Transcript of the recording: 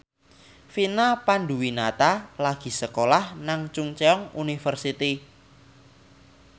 Vina Panduwinata lagi sekolah nang Chungceong University